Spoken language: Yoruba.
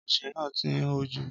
Ọsẹ náà ti ń hó jù.